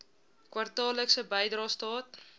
kwartaallikse bydrae staat